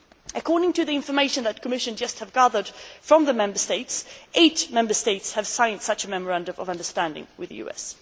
According to the information that the Commission has just gathered from the Member States, eight Member States have signed such a memorandum of understanding with the US.